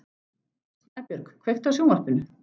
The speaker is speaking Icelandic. Snæbjörg, kveiktu á sjónvarpinu.